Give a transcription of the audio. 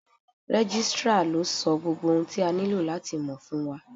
Registrar ló sọ gbogbo ohun tí a nílò láti mọ̀ fún wa.